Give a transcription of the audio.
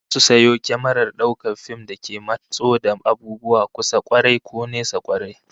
Za su sayo kyamarar daukar fim da ke matso da abubuwa kusa kwarai, ko nesa kwarai